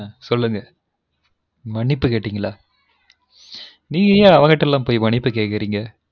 சொல்லுங்க மன்னிப்பு கேட்டீங்களா நீங்கெல்லம் ஏன் அவுங்கட்டெல்லாம் போய் மன்னிப்பு கேக்குறீங்க